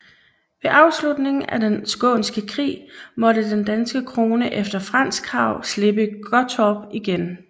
Ved afslutningen af Den skånske Krig måtte den danske krone efter fransk krav slippe Gottorp igen